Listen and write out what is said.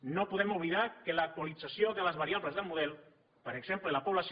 no podem oblidar que l’actualització de les variables de model per exemple la població